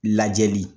Lajɛli